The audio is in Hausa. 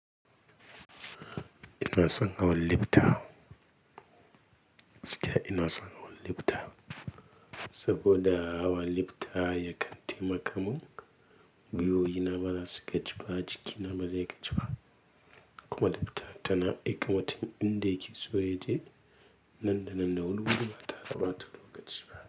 Ina son hawan libta, gaskiya ina son hawan libta saboda hawan libta ya kan taimakamun, gwiwoyi na bazasu gaji ba, jiki na bazai gaji ba kuma libta tana aika mutum inda yake so yaje nanda nanda wuri wuti bata re da bata lokaci ba.